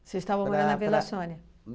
Você estava morando na Vila Sônia?